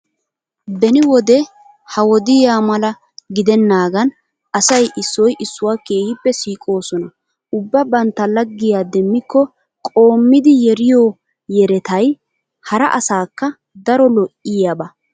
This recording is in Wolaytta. Beni wode ha wodiya mala gidennaagan asay issoy issuwa keehippe siiqoosona. Ubba bantta laggiya demmikko qoommidi yeriyo yerettay hara asaakka daro lo'iyaba.